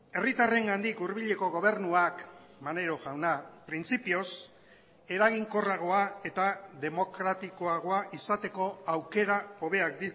herritarrengandik hurbileko gobernuak maneiro jauna printzipioz eraginkorragoa eta demokratikoagoa izateko aukera hobeak